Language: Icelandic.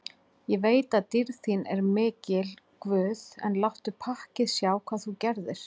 Ég veit að dýrð þín er mikil guð, en láttu pakkið sjá hvað þú gerðir.